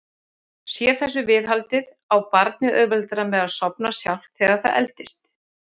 Víða hefur veður verið afar slæmt